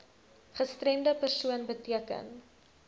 gestremde persoon beteken